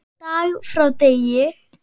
Dag frá degi.